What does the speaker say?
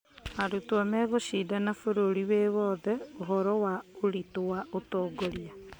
Arutwo megũcindana bũrũri wĩ wothe ũhoro wa ũritũ wa ũtongoria